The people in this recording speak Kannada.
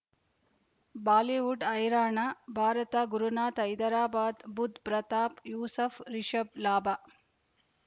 ಬಾಲಿವುಡ್ ಹೈರಾಣ ಭಾರತ ಗುರುನಾಥ ಹೈದರಾಬಾದ್ ಬುಧ್ ಪ್ರತಾಪ್ ಯೂಸುಫ್ ರಿಷಬ್ ಲಾಭ